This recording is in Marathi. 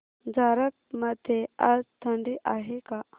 झारप मध्ये आज थंडी आहे का